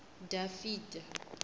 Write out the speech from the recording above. dafitha